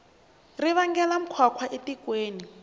ri vangela nkhwankhwa etikweni